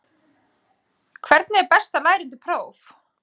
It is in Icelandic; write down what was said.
Hvernig er best að læra undir próf?